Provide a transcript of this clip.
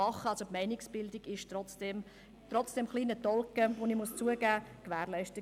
Die Meinungsbildung war trotzdem gewährleistet.